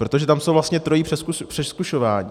Protože tam je vlastně trojí přezkušování.